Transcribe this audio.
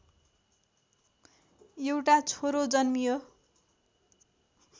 एउटा छोरो जन्मियो